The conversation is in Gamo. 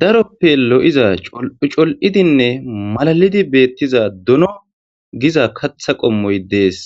daroppe lo'iza col'ucol'idinne malalidi beettiza dono giza katha qommoy dees